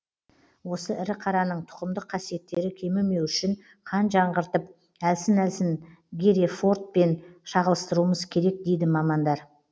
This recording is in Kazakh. осы ірі қараның тұқымдық қасиеттері кемімеу үшін қан жаңғыртып әлсін әлсін герефордпен шағылыстыруымыз керек дейді мамандар